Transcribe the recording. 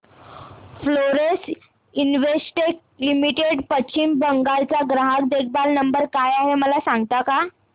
Florence Investec limited Paschim Bangal चा ग्राहक देखभाल नंबर काय आहे मला सांगता का